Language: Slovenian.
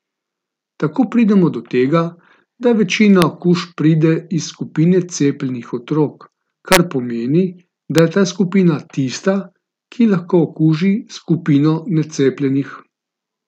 Tako pridemo do tega, da večina okužb pride iz skupine cepljenih otrok, kar pomeni, da je ta skupina tista, ki lahko okuži skupino necepljenih.